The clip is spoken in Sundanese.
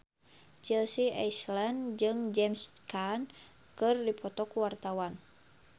Chelsea Islan jeung James Caan keur dipoto ku wartawan